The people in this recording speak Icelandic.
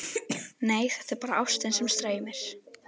Nei, þetta er bara ástin sem streymir.